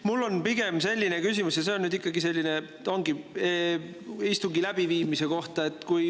Mul on pigem selline küsimus istungi läbiviimise kohta.